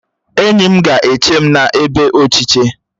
Enyi m ga-eche m n'ebe ochiche